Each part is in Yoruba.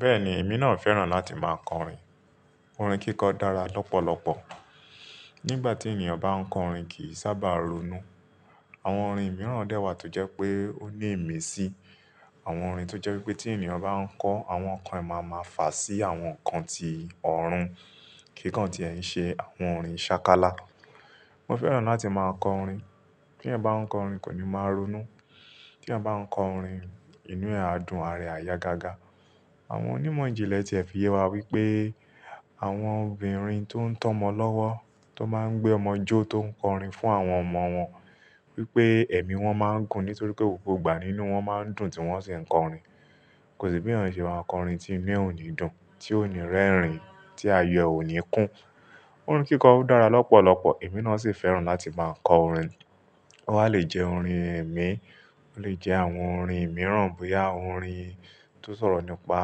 Bẹ́ẹ̀ni, èmi náà fẹ́ràn láti máa kọrin. Orin kíkọ dára lọ́pọ̀lọpọ̀. Nígbà tí ènìyàn bá ń kọrin kì í sábà ronú. Àwọn orin mìíràn dẹ́wà tó jẹ́ pé ó ní ìmísí. Àwọn orin tó jẹ́ wípé tí ènìyàn bá ń kọ, àwọn ǹkan ẹ máa máa fà sí àwọn ǹkan tí ọ̀run kíkàn tí ẹ̀ ń ṣe, àwọn orin ṣákálá. Mo fẹ́ràn láti máa kọ orin. Tí ẹ bá ń kọ orin kò ní máa ronú. Tí ẹ bá ń kọ orin, inú ẹ á dùn, ara ẹ á yá gágá. Àwọn onímọ̀ ìjìnlẹ̀ ti ẹ̀ fìye wa wípé àwọn obìnrin tó ń tọ́mọ lọ́wọ́ tó máa ń gbé ọmọ jó tó ń kọrin fún àwọn ọmọ wọn wípé ẹ̀mí wọn máa ń gùn nítorí pé gbogbo ìgbà nínú wọn máa ń dùn tí wọ́n sì ń kọrin. Kò sí bí èèyàn ṣe máa kọ orin tí oní ò ní dùn, tí oní rẹ́rìn, tí ayọ ò ní kún. Orin kíkọ dára lọ́pọ̀lọpọ̀, èmi náà sì fẹ́ràn láti máa kọ orin. Ó ha lè jẹ́ orin ẹ̀mí, ó lè jẹ́ àwọn orin mìíràn bóyá orin tó ń sọ̀rọ̀ nípa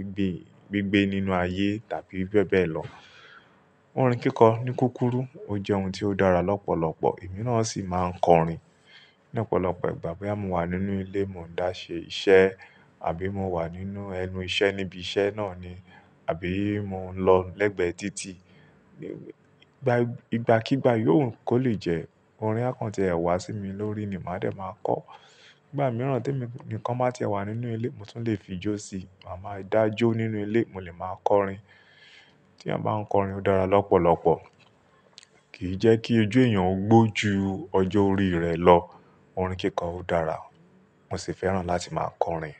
ibi, gbígbé nínú ayé tàbí bẹ́ẹ̀ bẹ́ẹ̀ lọ. Orin kíkọ ní kúkúrú, ó jẹ́ ohun tí ó dára lọ́pọ̀lọpọ̀, èmi náà sì máa ń kọrin. Lọ́pọ̀lọpọ̀ ìgbà bóyá mo wà nínú ilé, mo ń dá ṣe iṣẹ́ àbí mo wà nínú ẹnu iṣẹ́ níbi iṣẹ́ náà ni àbí mo ń lọ lẹ́gbẹ̀ẹ́ títì, ní ìgbàkígbà yóò kó lè jẹ́ orin akàn tí ẹ wá sí mi lórí ni màá dẹ̀ máa kọ. Ìgbà mìíràn tí nǹkan má tí ẹ wà nínú ilé, mo tún lè fi jó sí i, màá máa dá jó nínú ilé, mo lè máa kọrin. Tí eyan bá ń kọrin ó dára lọ́pọ̀lọpọ̀. Kì í jẹ́ kí ojú èèyàn ó gbó ju ọjọ́ orí rẹ̀ lọ. Orin kíkọ dára, mo sì fẹ́ràn láti máa kọrin.